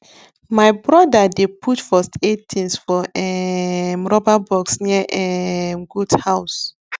my brother dey put first aid things for um rubber box near um goat house